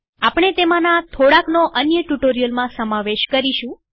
આપણે તેમાંના થોડાનો અન્ય ટ્યુ્ટોરીઅલમાં સમાવેશ કરીશું